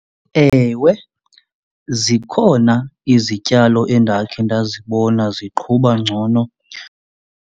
Ewe, zikhona izityalo endakhe ndazibona ziqhuba ngcono.